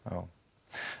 já